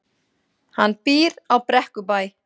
Hann býr á Brekkubæ.